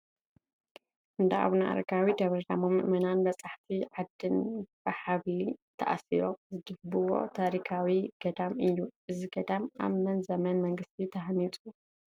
እንዳ ኣቡነ ኣረዊ ደብረ ዳሞ ምእመናንን በፃሕቲ ዓድን ብሓብሊ ተኣሲሮም ዝድይብዎ ታሪካዊ ገዳም እዩ፡፡ እዚ ገዳም ኣብ መን ዘመነ መንግስቲ ተሃኒፁ?